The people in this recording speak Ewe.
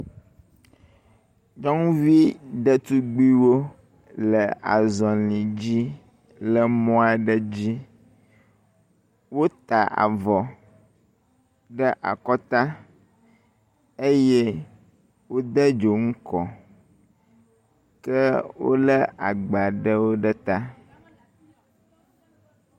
Nyɔnuvi ɖetugbiwo le azɔ̃li dzi le mɔ aɖe dzi. Wota avɔ ɖe akɔta eye wode dzonu kɔ ke wolé agba aɖewo ɖe ta.